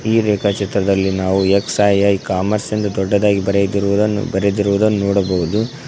ಈ ರೇಖಾ ಚಿತ್ರದಲ್ಲಿ ನಾವು ಎಕ್ಸ್_ಐ_ಐ ಕಾಮರ್ಸ್ ದೊಡ್ಡದಾಗಿ ಬರೆದಿರುವುದನ್ನು ಬರೆದಿರುವುದನ್ನು ನೋಡಬಹುದು.